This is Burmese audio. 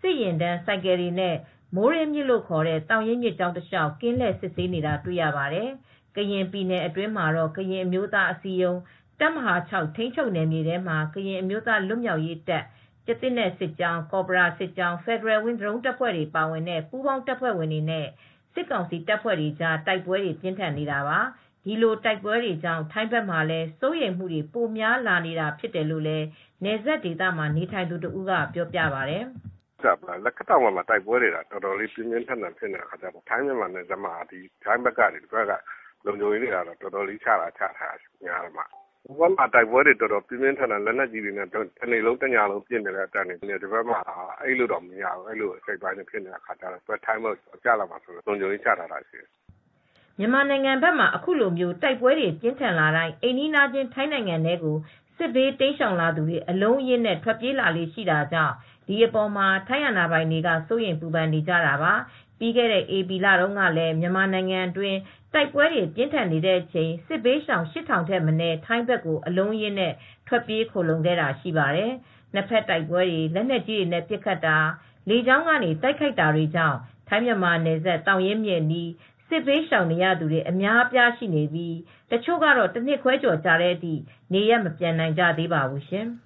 စစ်ယာဉ်တန်း ဆိုင်ကယ်တွေနဲ့ မိုးရေးမြစ် လို့ခေါ်တဲ့ သောင်ရင်း မြစ်ကြောင်းတလျှောက် ကင်းလှည့် စစ်ဆေးနေတာ တွေ့ရပါတယ်။ ကရင်ပြည်နယ်အတွင်းမှာတော့ ကရင်အမျိုးသားအစည်းအရုံး တပ်မဟာ (၆) ထိန်းချုပ်နယ်မြေထဲမှာ ကရင်အမျိုးသား လွတ်မြောက်ရေးတပ် ကျားသစ်နက် စစ်ကြောင်း၊ ကော်ဘရာစစ်ကြောင်း၊ Federal Wings ဒရုန်းတပ်ဖွဲ့တွေ ပါတဲ့ ပူးပေါင်း တပ်ဖွဲ့တွေနဲ့ စစ်ကောင်စီတပ်ဖွဲ့တွေကြား တိုက်ပွဲတွေ ပြင်းထန်နေတာပါ။ ဒီလို တိုက်ပွဲတွေကြောင့် ထိုင်းဘက်မှာလည်း စိုးရိမ်မှုတွေ ပိုများလာနေတာ ဖြစ်တယ်လို့ နယ်စပ်ဒေသမှာ နေထိုင်သူ တဦးက ပြောပါတယ်။ "လက်ခတ်တောင်ဘက်က တိုက်ပွဲတွေက အတော်လေး ပြင်းပြင်းထန်ထန် ဖြစ်နေတယ်။ ထိုင်းမြန်မာနယ်စပ်မှာ ထိုင်းဘက်က လုံခြုံရေးတွေ အတော်ချထားတယ်။ ဟိုဘက်ကမ်းမှာ လက်နက်ကြီးတွေနဲ့ တနေ့လုံးတညလုံး ညံနေတော့ ထိုင်းဘက်အိပ်လို့တောင် မရဘူး။ အဲဒီလိုဖြစ်နေတော့ လုံခြုံရေးတွေ ချထားတာက သူတို့ထိုင်းဘက်ကို ကျလာမှာစိုးလို့ လုံခြုံရေးတွေ ချထားတာဖြစ်တယ်။" မြန်မာနိုင်ငံဘက်မှာ အခုလို တိုက်ပွဲတွေ ပြင်းထန်လာတိုင်း အိမ်နီးချင်း ထိုင်းနိုင်ငံထဲကို စစ်ဘေးတိမ်းရှောင်သူတွေ အလုံးအရင်းနဲ့ ထွက်ပြေးလာလေ့ ရှိတာကြောင့် ဒီအပေါ်မှာ ထိုင်းအာဏာပိုင်တွေက စိုးရိမ်ပူပန်နေကြတာပါ။ ပြီးခဲ့တဲ့ ဧပြီလတုန်းကလည်း မြန်မာနိုင်ငံတွင်း တိုက်ပွဲတွေ ပြင်းထန်နေတဲ့အချိန် စစ်ဘေးရှောင် ၈၀၀၀ ထက်မနည်း ထိုင်းဘက်ကို အလုံးအရင်း ထွက်ပြေး ခိုလှုံခဲ့တာ ရှိပါတယ်။ နှစ်ဘက်တိုက်ပွဲတွေ၊ လက်နက်ကြီးနဲ့ ပစ်ခတ်တာ၊ လေကြောင်းက တိုက်ခိုက်တာတွေကြောင့် ထိုင်း−မြန်မာနယ်စပ် သောင်ရင်းမြစ်အနီး စစ်ဘေးရှောင်နေရသူတွေ အများအပြား ရှိနေပြီး တချို့က တနှစ်ခွဲကျော်ကြာတဲ့အထိ နေရပ်မပြန်နိုင်ကြသေးပါဘူးရှင်။